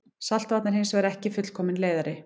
Saltvatn er hins vegar ekki fullkominn leiðari.